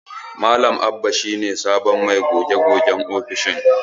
Malam Abba shi ne sabon mai goge-gogen ofishin.